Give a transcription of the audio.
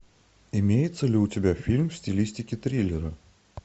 имеется ли у тебя фильм в стилистике триллера